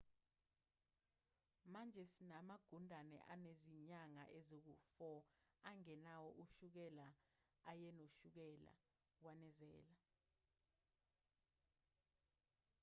manje sinamagundane anezinyanga ezingu-4 angenawo ushukela ayenoshukela wanezela